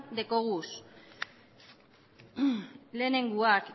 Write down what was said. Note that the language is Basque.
dekoguz lehenengoak